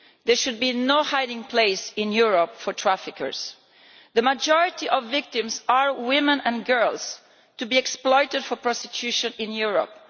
There should be no hiding place in Europe for traffickers. The majority of victims are women and girls to be exploited for prostitution in Europe.